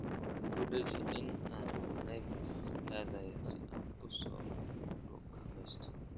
ku dhaji in aan naivas aadayo si aan u soo dukaameysto